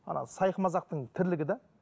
ана сайқымазақтың тірлігі де